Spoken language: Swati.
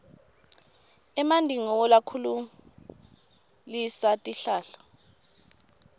emanti ngiwo lakhulisa tihlahla